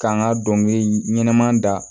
K'an ka dɔnkili ɲɛnɛma da